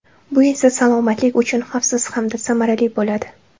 Bu esa salomatlik uchun xavfsiz hamda samarali bo‘ladi.